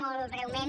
molt breument